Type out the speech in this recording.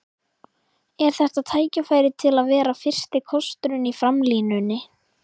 Er þetta tækifæri til að vera fyrsti kosturinn í framlínunni?